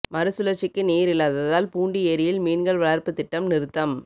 மறு சுழற்சிக்கு நீர் இல்லாததால் பூண்டி ஏரியில் மீன்கள் வளர்ப்பு திட்டம் நிறுத்தம்